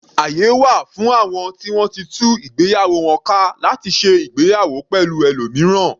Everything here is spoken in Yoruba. Àyè wà fún àwọn ti wọ́n ti tú ìgbéyàwó wọn ka láti ṣe ìgbéyàwó pẹ̀lú ẹlòmíràn.